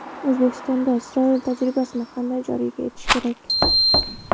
O‘zbekistonda Isroil tajribasini qanday joriy etish kerak?